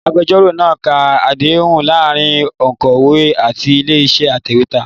Agbẹjọ́rò náa ka àdéhùn láàárín òǹkọ̀wé àti ilé-iṣẹ́ atẹ̀wétà.